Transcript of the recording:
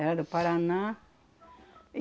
Era do Paraná.